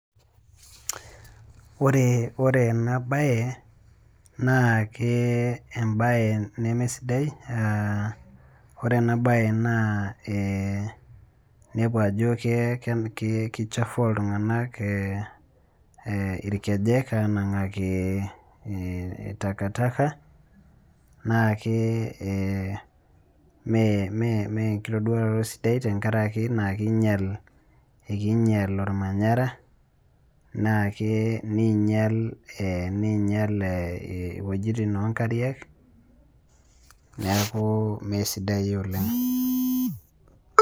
Wore ena baye, naake embaye nemesidai. Wore ena baye naa inepu ajo kichafua iltunganak inkejek aanangaki takataka, naa ke mee enkitoduaroto sidai tenkaraki naa kiinyial ekiinyial olmanyara, naake niinyial iwejitin oonkariak neeku mee sidai oleng'.